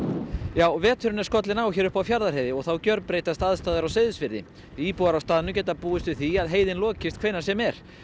já veturinn er skollinn á hér uppi á Fjarðarheiði og þá gjörbreytast aðstæður á Seyðisfirði íbúar á staðnum geta búist við því að heiðin lokist hvenær sem er